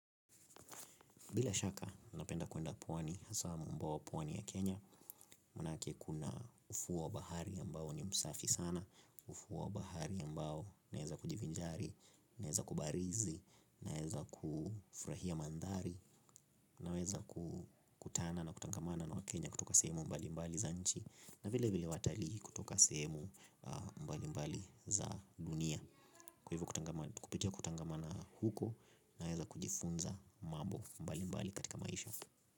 Bila shaka, napenda kuenda pwani, hasa mwambao wa pwani ya Kenya, manake kuna ufuo wa bahari ya ambao ni msafi sana, ufuo wa bahari ya ambao naeza kujivinjari, naeza kubarizi, naeza kufurahia mandhari, naeza kutana na kutangamana na wakenya kutoka sehemu mbali mbali za nchi, na vile vile watalii kutoka sehemu mbali mbali za dunia. Kupitia kutangamana huko naeza kujifunza mambo mbali mbali katika maisha.